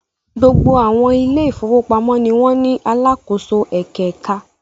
Gbogbo àwọn ilé-ìfowópamọ́sí ni wọ́n ní alákòóso ẹ̀kẹ̀ẹ̀ka.